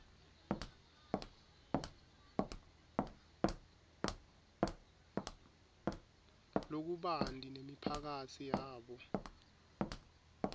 lokubanti nemiphakatsi yabo